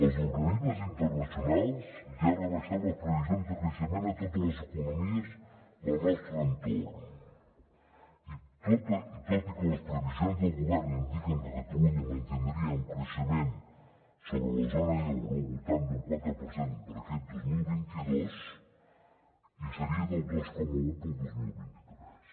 els organismes internacionals ja han rebaixat les previsions de creixement a totes les economies del nostre entorn tot i que les previsions del govern indiquen que catalunya mantindria un creixement sobre la zona euro al voltant d’un quatre per cent per a aquest dos mil vint dos i seria del dos coma un per al dos mil vint tres